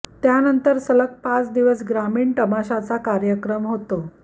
त् यानंतर सलग पाच दिवस ग्रामीण तमाशाचा कार्यक्रम होतो